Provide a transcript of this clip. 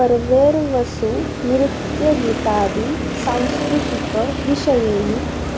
पर्वेर्वसु नृत्यगीतादि साम्स्कृतिक विषयैः